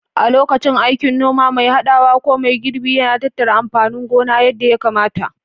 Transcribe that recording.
A lokacin aikin noma, mai haɗawa ko mai girbi yana tattara amfanin gona yadda ya kamata.